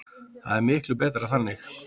Það er miklu skemmtilegra þannig.